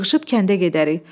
Yığışıb kəndə gedərik.